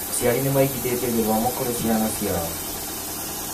aciari nĩ maigithĩtie gĩthomo kurĩ ciana ciao.